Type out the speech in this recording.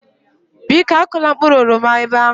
Biko akụla mkpụrụ oroma ebe ahụ